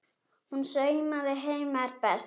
Hún saumaði heima er best.